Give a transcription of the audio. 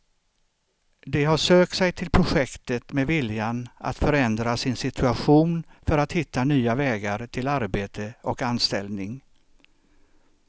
De har sökt sig till projektet med viljan att förändra sin situation för att hitta nya vägar till arbete och anställning.